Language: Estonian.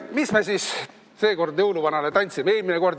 Mis me siis seekord jõuluvanale tantsime?